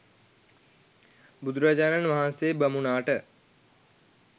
බුදුරජාණන් වහන්සේ බමුණාට